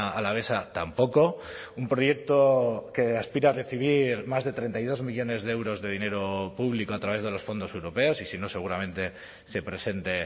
alavesa tampoco un proyecto que aspira a recibir más de treinta y dos millónes de euros de dinero público a través de los fondos europeos y si no seguramente se presente